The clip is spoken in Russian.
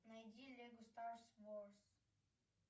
найди лего старс ворс